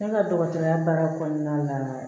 Ne ka dɔgɔtɔrɔya baara kɔnɔna la